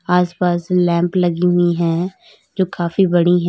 आसपास लैंप लगी हुई है जो काफी बड़ी है।